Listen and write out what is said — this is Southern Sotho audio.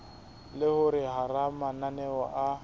le hore hara mananeo a